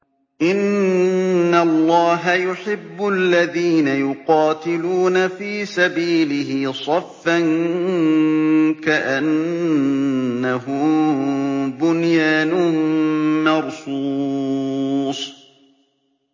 إِنَّ اللَّهَ يُحِبُّ الَّذِينَ يُقَاتِلُونَ فِي سَبِيلِهِ صَفًّا كَأَنَّهُم بُنْيَانٌ مَّرْصُوصٌ